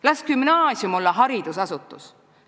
Las gümnaasium olla haridusasutus.